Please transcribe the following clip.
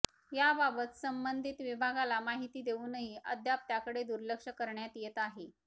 याबाबत संबंधीत विभागाला माहिती देवूनही अद्याप त्याकडे दुर्लक्ष करण्यात येत आहे